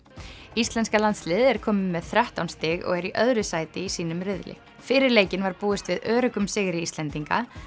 íslenska landsliðið er komið með þrettán stig og er í öðru sæti í sínum riðli fyrir leikinn var búist við öruggum sigri Íslendinga